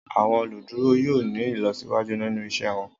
Àwọn oluduro yoo ni ilọsiwaju ninu iṣẹ wọn.